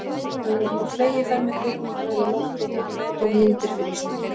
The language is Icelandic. Nú var hann á fleygiferð með kvikmyndavél á lofti og tók myndir fyrir Íslendinga.